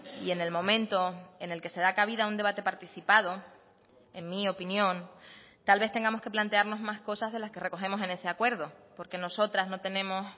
y en el momento en el que se da cabida un debate participado en mi opinión tal vez tengamos que plantearnos más cosas de las que recogemos en ese acuerdo porque nosotras no tenemos